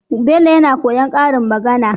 Bello yAna koyan karin magAna